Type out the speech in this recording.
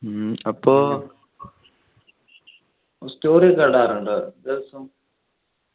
ഉം അപ്പൊ story ഒക്കെ ഇടാറുണ്ടോ ദിവസം